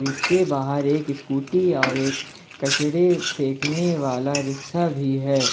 इसके बाहर एक इस्कूटी और एक कचड़े फेंकने वाला रिक्सा भी है।